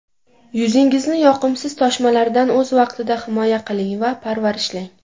Yuzingizni yoqimsiz toshmalardan o‘z vaqtida himoya qiling va parvarishlang.